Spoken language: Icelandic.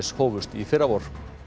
hófust í fyrravor